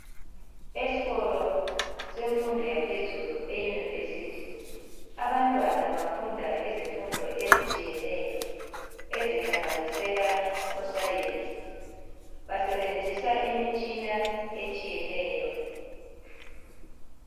Eskolo semfundo yaphezulu e university. Abantwana bafunda izifundo ezitshiyeneyo ezihlanganisela osayensi .Basebenzisa imitshina etshiyeneyo.